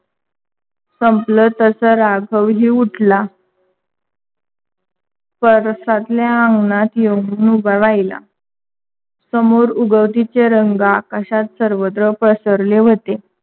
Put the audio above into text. संपल. तस राघवही उठला परसातल्या अंगणात येऊन उभा राहीला. समोर उगवतीचे रंग आकाशात सर्वत्र पसरले होते.